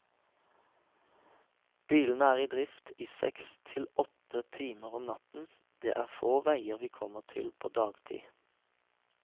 Bilene er i drift i seks til åtte timer om natten, det er få veier vi kommer til på dagtid.